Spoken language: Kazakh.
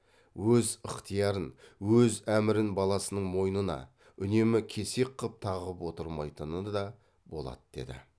өз ықтиярын өз әмірін баласының мойнына үнемі кесек қып тағып отырмайтыны да болады деді